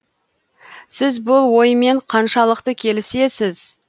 сіз бұл оймен қаншалықты келісесіз